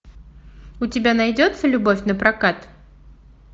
у тебя найдется любовь напрокат